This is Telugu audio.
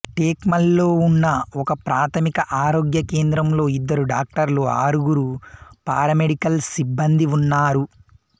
టేక్మల్లో ఉన్న ఒకప్రాథమిక ఆరోగ్య కేంద్రంలో ఇద్దరు డాక్టర్లు ఆరుగురు పారామెడికల్ సిబ్బందీ ఉన్నారు